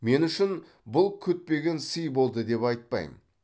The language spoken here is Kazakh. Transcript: мен үшін бұл күтпеген сый болды деп айтпаймын